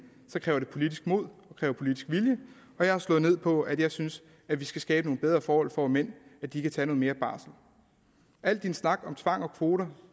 kræver det politisk mod og politisk vilje jeg har slået ned på at jeg synes at vi skal skabe bedre forhold for mænd så de kan tage mere barsel al den snak om tvang og kvoter